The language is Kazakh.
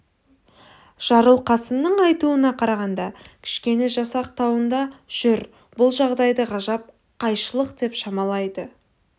жарылқасынның айтуына қарағанда кішкене жасақ тауында жүр бұл жағдайды ғажап қайшылық деп шамалайды